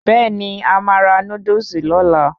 Bẹ́ẹ̀ni,A máa ra Núdúsì lóla